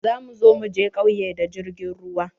Za mu zo mu je ƙauye da jirgin ruwa.